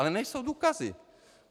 Ale nejsou důkazy.